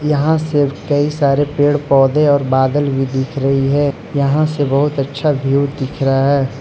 यहां से कई सारे पेड़ पौधे और बादल भी दिख रही है यहां से बहुत अच्छा व्यू दिख रहा है।